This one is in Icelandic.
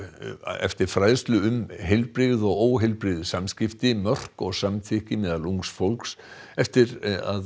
eftir fræðslu um heilbrigð og óheilbrigð samskipti mörk og samþykki meðal ungs fólks eftir